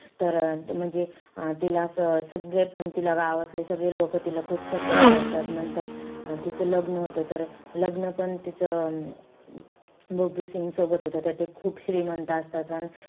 तर म्हणजे अं तिला असं सगळेपण तिला गावातले सगळे लोकं तिला खूप support करतात. नंतर तिचं लग्न होतं. तर लग्नपण तिचं बबलू सिंग सोबत होतं. त ते खूप श्रीमंत असतात.